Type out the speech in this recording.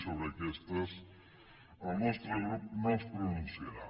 sobre aquestes el nostre grup no es pronunciarà